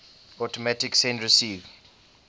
automatic send receive